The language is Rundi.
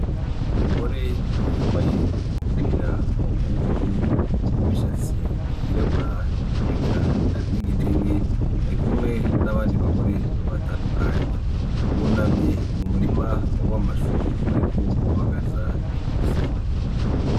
Umugore yambaye umupira w'ubururu, n'imishatsi yirabura eka n'igitenge, arikumwe n'abandi bagore batandukanye bunamye mu murima w'amashu bariko babagaza intoki.